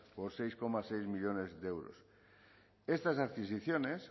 por seis coma seis millónes de euros estas adquisiciones